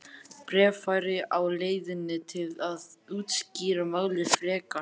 Bréf væri á leiðinni til að útskýra málið frekar.